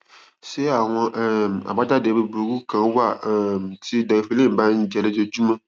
ṣé àwọn um àbájáde búburú kan wà um tí deriphyllin bá ń jẹ lójoojúmọ